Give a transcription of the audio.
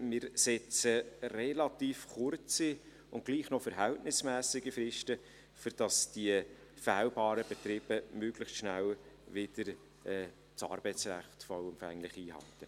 Wir setzen relativ kurze und trotzdem noch verhältnismässige Fristen, sodass die fehlbaren Betriebe das Arbeitsrecht möglichst schnell wieder vollumfänglich einhalten.